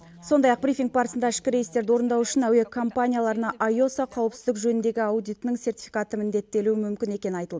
сондай ақ брифинг барысында ішкі рейстерді орындау үшін әуе компанияларына исоа қауіпсіздік жөніндегі аудитінің сертификаты міндеттелуі мүмкін екені айтылды